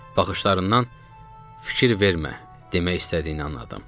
Baxışlarından fikir vermə demək istədiyini anladım.